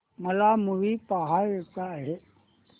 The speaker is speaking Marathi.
मला मूवी पहायचा आहे